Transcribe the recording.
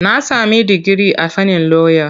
Na sami digiri a fannin lauya.